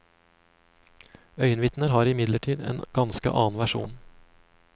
Øyenvitner har imidlertid en ganske annen versjon.